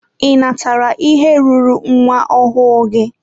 Ị natara ihe ruuru nwa ọhụụ gị?